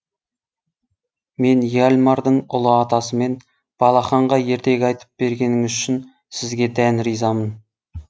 мен яльмардың ұлы атасымын балақанға ертегі айтып бергеніңіз үшін сізге дән ризамын